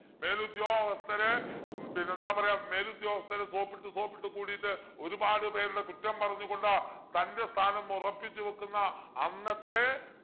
മേലുദ്യോഗസ്ഥരെ ഉം പിന്നെന്താ പറയാ മേലുദ്യോഗസ്ഥരെ soap ഇട്ടു soap ഇട്ടു കൂടീട്ട് ഒരുപാട് പേരുടെ കുറ്റം പറഞ്ഞു കൊണ്ട് തൻ്റെ സ്ഥാനം ഉറപ്പിച്ചു വെക്കുന്ന അന്നത്തെ